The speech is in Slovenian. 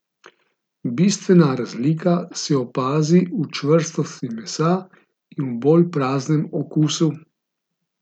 Bistvena razlika se opazi v čvrstosti mesa in v bolj praznem okusu.